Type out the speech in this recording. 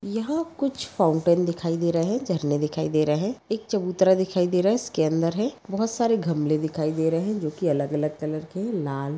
यहा कुछ फाउंटेन दिखाई दे रहे है। झरने दिखाई दे रहे है। एक चबूतरा दिखाई दे रहा है इसके अंदर है। बहुत सार गमले दिखाई दे रहे है। जो की अलग-अलग कलर के है। लाल--